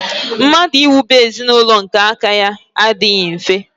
Mmadụ iwube ezinaụlọ nke aka ya adịghị mfe.